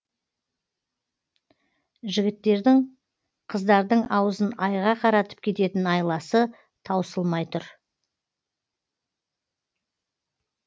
жігіттердің қыздардың аузын айға қаратып кететін айласы таусылмай тұр